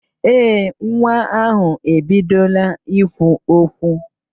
Ee, nwa ahụ ebidola ikwu okwu